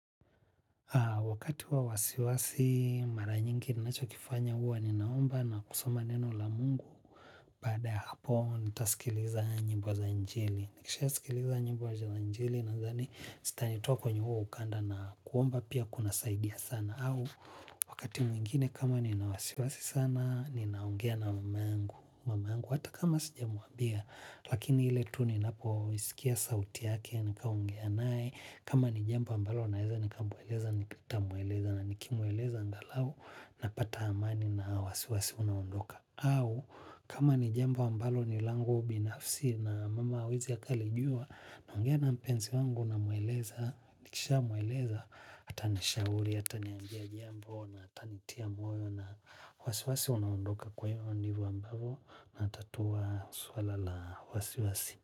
Wakati wa wasiwasi mara nyingi ninachokifanya huwa ninaomba na kusoma neno la mungu. Baada hapo nita sikiliza njimbo za injili. Nikisha sikiliza nyimbo za injili nadhani zitani toa kwenye huo ukanda na kuomba pia kuna saidia sana au wakati mwingine kama nina wasiwasi sana ninaongea na mama yangu. Mama yangu hata kama sijamuambia lakini ile tu ninapo isikia sauti yake nikaongea nae. Kama ni jambo ambalo naeza ni kamweleza nitamweleza na nikimweleza angalau napata amani na wasiwasi unaondoka. Au kama ni jombo ambalo ni langu binafsi na mama hawezi akalijuwa naogea na mpenzi wangu namweleza nikisha mweleza atanishauri ataniambia jambo na ata nitia moyo na wasiwasi unaondoka kwa hiyo ndivo ambavo natatua swala la wasiwasi.